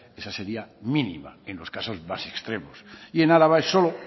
esa sería mínima en los casos más extremos y el araba es solo